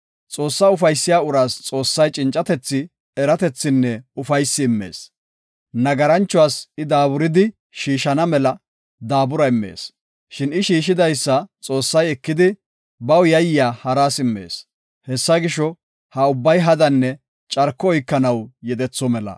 Xoossaa ufaysiya uraas Xoossay cincatethi, eratethinne ufaysi immees; nagaranchuwas I daaburidi shiishana mela, daabura immees. Shin I shiishidaysa Xoossay ekidi, baw yayiya haras immees. Hessa gisho, ha ubbay hadanne carko oykanaw yedetho mela.